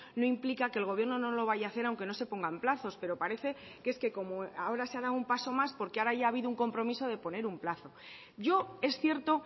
no implica que el gobierno no lo vaya a hacer aunque no se pongan plazos pero parece que es que como ahora se ha dado un paso más porque ahora ya ha habido un compromiso de poner un plazo yo es cierto